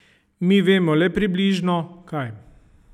Mi vemo le približno, kaj.